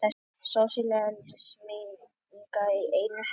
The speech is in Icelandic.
Sósíalismi í einu herbergi.